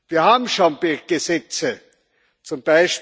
Wir haben schon Gesetze z.